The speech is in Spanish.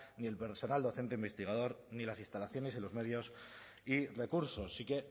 ni el personal docente investigador ni las instalaciones y los medios y recursos sí que